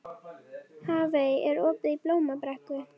Hafey, er opið í Blómabrekku?